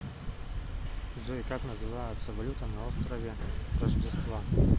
джой как называется валюта на острове рождества